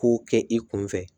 Ko kɛ i kun fɛ